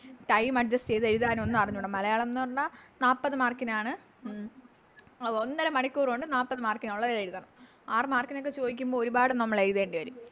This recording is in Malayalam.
Time adjust ചെയ്ത എഴുതാനൊന്നും അറിഞ്ഞൂടാ മലയാളംന്ന് പറഞ്ഞ നാപ്പത് Mark നാണ് ഒന്നര മണിക്കൂർ കൊണ്ട് നാപ്പത് Mark നൊള്ളത് എഴുതണം ആറ് Mark നോക്കെ ചോദിക്കുമ്പോൾ ഒരുപാട് നമ്മളെഴുതേണ്ടി വരും